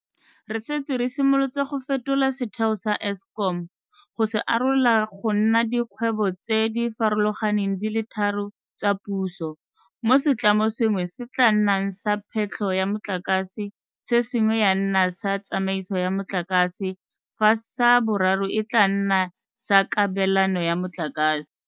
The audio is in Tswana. Re setse re simolotse go fetola setheo sa Eskom go se arola go nna dikgwebo tse di farologaneng di le tharo tsa puso mo setlamo sengwe se tla nnang sa phetlho ya motlakase, se sengwe ya nna sa tsamaiso ya motlakase fa sa boraro e tla nna sa kabelano ya motlakase.